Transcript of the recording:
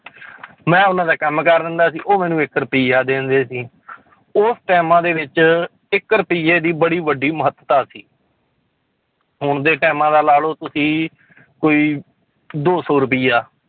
ਮੈਂ ਉਹਨਾਂ ਦਾ ਕੰਮ ਕਰ ਦਿੰਦਾ ਸੀ ਉਹ ਮੈਨੂੰ ਇੱਕ ਰੁਪਇਆ ਦੇ ਦਿੰਦੇ ਸੀ ਉਸ ਟਾਇਮਾਂ ਦੇ ਵਿੱਚ ਇੱਕ ਰੁਪਈਏ ਦੀ ਬੜੀ ਵੱਡੀ ਮਹੱਤਤਾ ਸੀ ਹੁਣ ਦੇ ਟਾਇਮਾਂ ਦਾ ਲਾ ਲਓ ਤੁਸੀਂ ਕੋਈ ਦੋ ਸੌ ਰੁਪਇਆ।